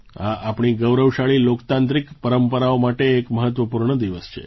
આ આપણી ગૌરવશાળી લોકતાંત્રિક પરંપરાઓ માટે એક મહત્ત્વપૂર્ણ દિવસ છે